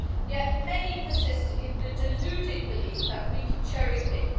Yet many persist in the deluded belief that we can cherry pick.